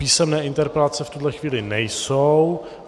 Písemné interpelace v tuhle chvíli nejsou.